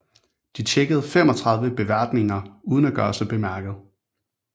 De tjekkede 35 beværtninger uden at gøre sig bemærket